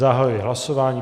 Zahajuji hlasování.